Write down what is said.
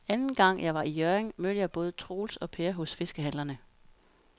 Anden gang jeg var i Hjørring, mødte jeg både Troels og Per hos fiskehandlerne.